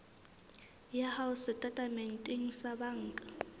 ya hao setatementeng sa banka